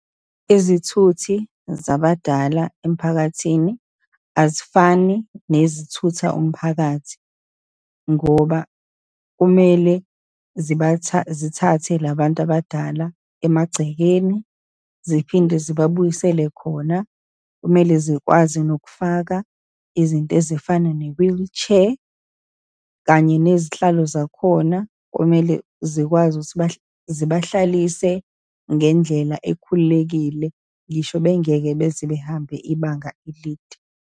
Izithuthi zabadala emphakathini, azifani nezithutha umphakathi, ngoba kumele ziba , zithathe labantu abadala emagcekeni, ziphinde zibabuyisele khona. Kumele zikwazi nokufaka izinto ezifana ne-wheelchair, kanye nezihlalo zakhona kumele zikwazi ukuthi zibahlalise ngendlela ekhululekile, ngisho bengeke beze behambe ibanga elide.